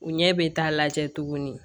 U ɲɛ bɛ taa lajɛ tuguni